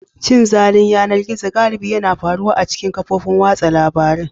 Cin zalin yanar gizo galibi yana faruwa a cikin kafofin watsa labarun.